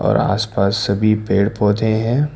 और आसपास सभी पेड़ पौधे हैं।